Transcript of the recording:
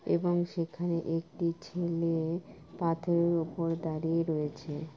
এবং সেখানে একটি ছেলেএএ পাথরের উপরে দাঁড়িয়ে রয়েছে।